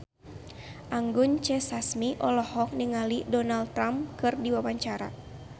Anggun C. Sasmi olohok ningali Donald Trump keur diwawancara